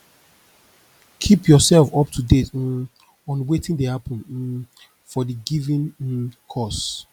keep yourself up to date um on wetin dey happen um for di given um cause